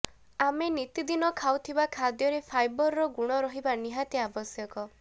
ଆମେ ନୀତିଦିନ ଖାଉଥିବା ଖାଦ୍ୟରେ ଫାଇବରର ଗୁଣ ରହିବା ନିହାତି ଆବଶ୍ୟକ